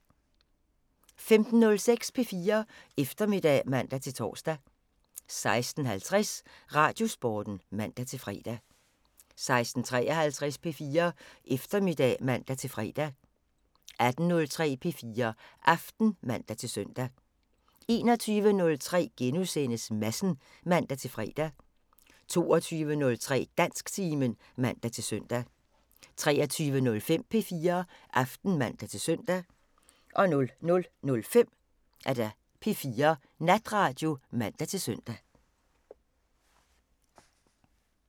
15:06: P4 Eftermiddag (man-tor) 16:50: Radiosporten (man-fre) 16:53: P4 Eftermiddag (man-fre) 18:03: P4 Aften (man-søn) 21:03: Madsen *(man-fre) 22:03: Dansktimen (man-søn) 23:05: P4 Aften (man-søn) 00:05: P4 Natradio (man-søn)